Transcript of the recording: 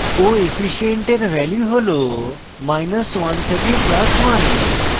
coefficient এর value has100 থেকে + 100